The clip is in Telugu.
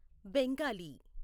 బెంగాలీ